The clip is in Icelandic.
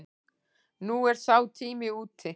Nú er sá tími úti.